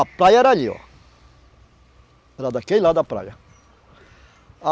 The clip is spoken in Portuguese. A praia era ali, ó. Era daquele lado a praia. A